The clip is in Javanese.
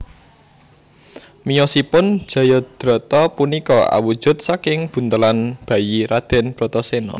Miyosipun Jayadrata punika awujud saking buntelan bayi Raden Bratasena